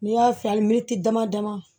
N'i y'a fiyɛ ali minti dama dama